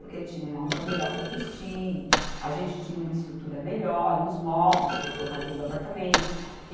Porque tinham uma roupa melhor para vestir, a gente tinha uma estrutura melhor, uns móveis para colocar dentro do apartamento.